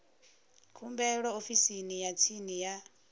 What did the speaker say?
khumbelo ofisini ya tsini ya